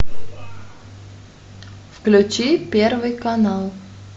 включи первый канал